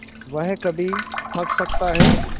वह कभी थक सकता है